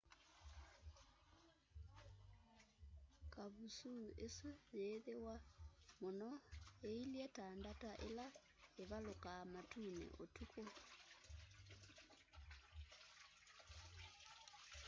kavusuu isu yiithiwa muno iilye ta ndata ila ivalukaa matuni utuku